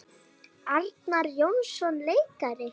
Arnar Jónsson leikari